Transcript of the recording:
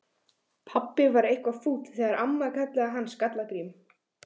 Pabbi var eitthvað fúll þegar amma kallaði hann Skalla-Grím.